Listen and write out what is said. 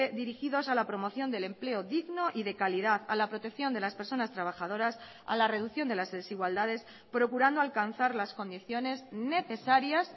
dirigidos a la promoción del empleo digno y de calidad a la protección de las personas trabajadoras a la reducción de las desigualdades procurando alcanzar las condiciones necesarias